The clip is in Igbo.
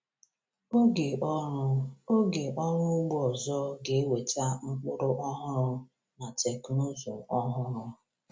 Oge ọrụ Oge ọrụ ugbo ọzọ ga-eweta mkpụrụ ọhụrụ na teknụzụ ọhụrụ.